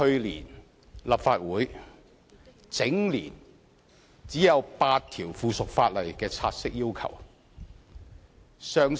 立法會去年全年只有8項附屬法例議員要求察悉。